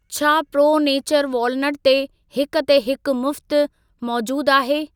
छा Pro Nature walnut ते 'हिक ते हिक मुफ़्त' मौजूद आहे?